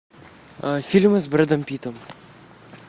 фильмы с брэдом питтом